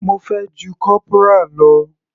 Mo fẹ́ ju corporal lọ.